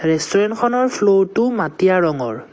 ৰেষ্টোৰেন্তখনৰ ফ্ল'ৰটো মাটিয়া ৰঙৰ।